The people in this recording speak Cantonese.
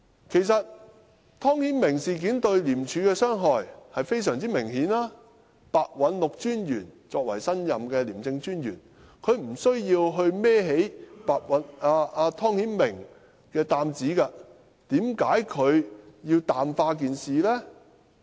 其實，湯顯明事件對廉署的傷害是非常明顯的，白韞六專員作為新任的廉政專員，他沒有需要去揹起湯顯明這擔子，為甚麼他要淡化事件呢？